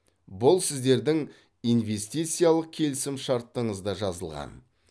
бұл сіздердің инвестициялық келісімшартыңызда жазылған